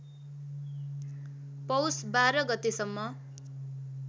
पौष १२ गतेसम्म